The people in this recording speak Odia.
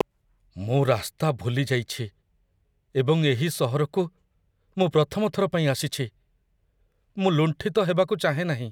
ମୁଁ ରାସ୍ତା ଭୁଲି ଯାଇଛି ଏବଂ ଏହି ସହରକୁ ମୁଁ ପ୍ରଥମ ଥର ପାଇଁ ଆସିଛି। ମୁଁ ଲୁଣ୍ଠିତ ହେବାକୁ ଚାହେଁ ନାହିଁ।